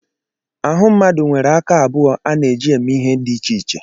Ahụ mmadụ nwere aka abụọ a na-eji eme ihe dị iche iche.